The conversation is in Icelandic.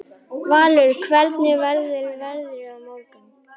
Valur, hvernig verður veðrið á morgun?